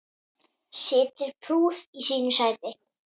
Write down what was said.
Situr prúð í sínu sæti.